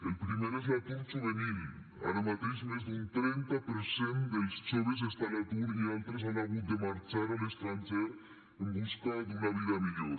el primer és l’atur juvenil ara mateix més d’un trenta per cent dels joves està a l’atur i altres han hagut de marxar a l’estranger en busca d’una vida millor